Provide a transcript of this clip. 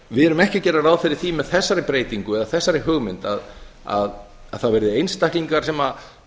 við erum ekki að gera ráð fyrir því með þessari breytingu eða þessari hugmynd að það verði einstaklingar sem